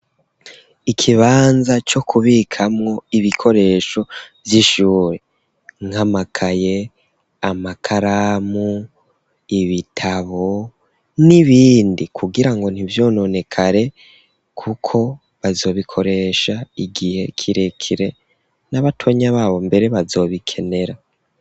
Ikibanza co kubikamwo ibikoresho vy'ishure nk'amakaye, amakaramu, ibitabo n'ibindi, kugira ngo ntivyononekare kuko bazobikoresha igihe kirekire n'abatonya babo mbere bazobikenera.